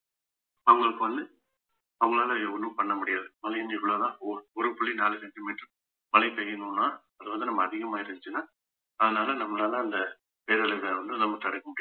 அவங்களுக்கு வந்து அவங்களால ஒண்ணும் பண்ண முடியாது இவ்வளவுதான் ஓர்~ ஒரு புள்ளி நாலு centimeter மழை பெய்யணும்ன்னா அது வந்து நம்ம அதிகமா இருந்துச்சுன்னா அதனால நம்மளால அந்த பேரழிவை வந்து நம்ம தடுக்க முடியாது